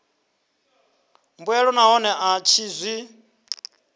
mbuelo nahone a tshi zwi